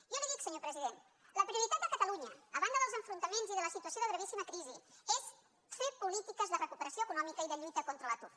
jo li ho dic senyor president la prioritat de catalunya a banda dels enfrontaments i de la situació de gravíssima crisi és fer polítiques de recuperació econòmica i de lluita contra l’atur